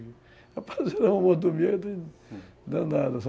Rapaz, era um amor do medo danado, sabe, hum